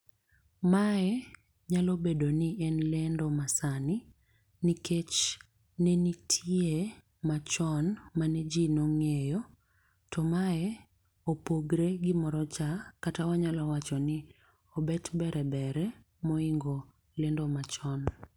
Mae nyalo bedo ni en ledo masani. Nikech nenitie machon maneji nong'eyo to mae opogore gi moro cha, kata wanyalo wacho ni obet bere bere mohingo lendo machon.